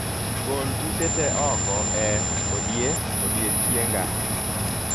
Gol buche te oko e odie odiechienga